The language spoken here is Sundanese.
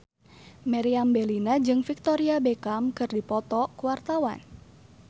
Meriam Bellina jeung Victoria Beckham keur dipoto ku wartawan